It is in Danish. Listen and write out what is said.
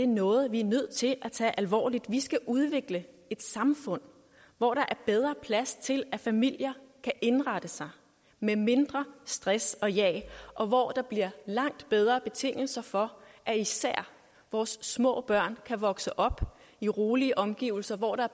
noget vi er nødt til at tage alvorligt vi skal udvikle et samfund hvor der er bedre plads til at familier kan indrette sig med mindre stress og jag og hvor der bliver langt bedre betingelser for at især vores små børn kan vokse op i rolige omgivelser hvor der